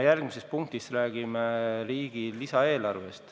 Järgmises punktis me räägime riigi lisaeelarvest.